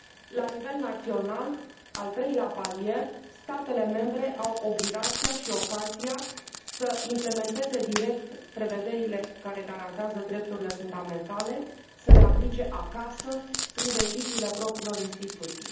La nivel național, al treilea palier, statele membre au obligația și ocazia să implementeze direct prevederile care garantează drepturile fundamentale, să le aplice acasă, prin deciziile propriilor instituții.